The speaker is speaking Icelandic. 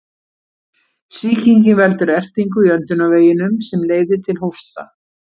Sýkingin veldur ertingu í öndunarveginum sem leiðir til hósta.